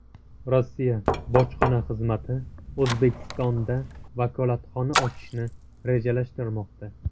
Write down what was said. Rossiya bojxona xizmati O‘zbekistonda vakolatxona ochishni rejalashtirmoqda.